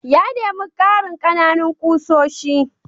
Ya nemi karin ƙananan ƙusoshi.